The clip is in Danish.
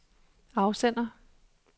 afsender